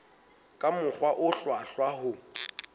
ka mokgwa o hlwahlwa ho